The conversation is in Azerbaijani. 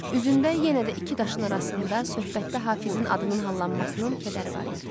Üzündə yenə də iki daşın arasında söhbətdə Hafizin adının hallanmasının kədəri var idi.